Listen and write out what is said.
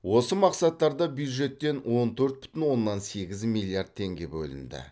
осы мақсаттарда бюджеттен он төрт бүтін оннан сегіз миллиард теңге бөлінді